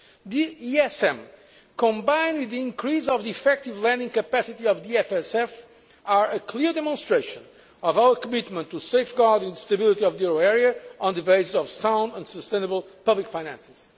The ESM, combined with the increase of the effective lending capacity of the EFSF, is a clear demonstration of our commitment to safeguard the stability of the euro area on the basis of sound and sustainable public finances.